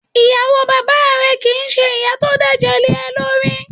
Ìyàwó bàbáà rẹ kì í ṣe ìyá tó dẹ̀jẹ̀ léẹ lórí.